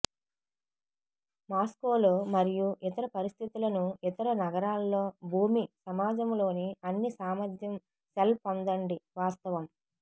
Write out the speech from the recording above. Moscow లో మరియు ఇతర పరిస్థితులను ఇతర నగరాల్లో భూమి సమాజంలోని అన్ని సామర్థ్యం సెల్ పొందండి వాస్తవం